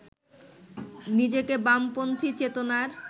নিজেকে বামপন্থী চেতনার